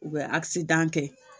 U bɛ asidan kɛ